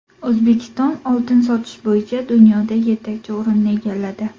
O‘zbekiston oltin sotish bo‘yicha dunyoda yetakchi o‘rinni egalladi.